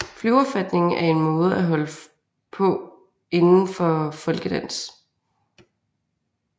Flyverfatning er en måde at holde på inden for folkedans